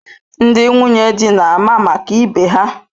Ndị nwunye di na-ama maka ibe ha.